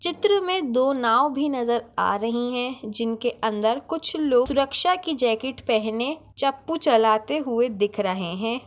चित्र में दो नाव भी नजर आ रही है जिनके अंदर कुछ लोग सुरक्षा की जाकेट पेहने चप्पू चलते हुए दिख रहे है।